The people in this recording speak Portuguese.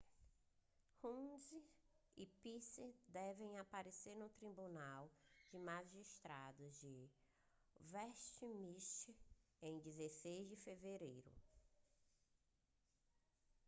huhne e pryce devem aparecer no tribunal de magistrados de westminster em 16 de fevereiro